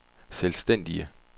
selvstændige